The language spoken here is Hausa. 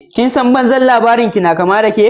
"Kin san banzan labarinki na ƙama dake?